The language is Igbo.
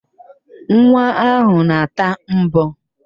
Nwa ahụ na-ata mbọ